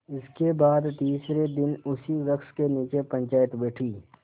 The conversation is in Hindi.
इसके बाद तीसरे दिन उसी वृक्ष के नीचे पंचायत बैठी